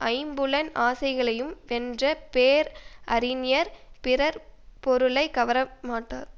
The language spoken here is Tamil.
ஐம்புலன் ஆசைகளையும் வென்ற பேர் அறிஞர் பிறர் பொருளை கவர மாட்டார்